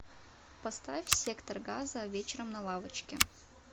поставь сектор газа вечером на лавочке